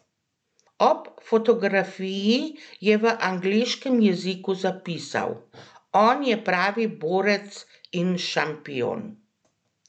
Ob fotografiji je v angleškem jeziku zapisal: "On je pravi borec in šampion!